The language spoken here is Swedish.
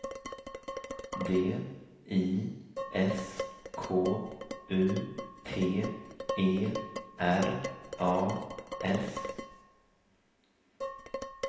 D I S K U T E R A S